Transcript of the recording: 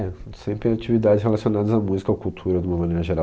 É, sempre atividades relacionadas à música, ou à cultura, de uma maneira geral.